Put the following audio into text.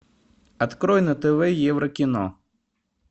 открой на тв еврокино